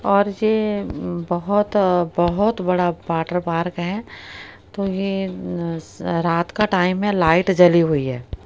और ये बहुत बहुत बड़ा वॉटर पार्क है तो ये अह रात का टाइम है लाइट जली हुई है।